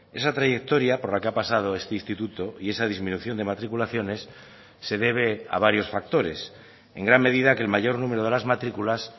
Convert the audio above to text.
esa trayectoria por la que ha pasado este instituto y esa disminución de matriculaciones se debe a varios factores en gran medida que el mayor número de las matriculas